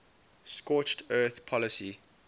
scorched earth policy